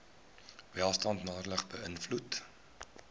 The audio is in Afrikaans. welstand nadelig beïnvloed